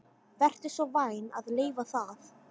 Vertu svo vænn að leyfa það